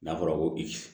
N'a fɔra ko i